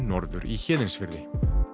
norður í Héðinsfirði